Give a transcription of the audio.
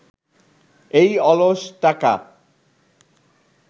এই অলস টাকা